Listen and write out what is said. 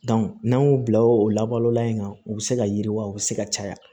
n'an y'o bila o labalolan in kan u bɛ se ka yiriwa u bɛ se ka caya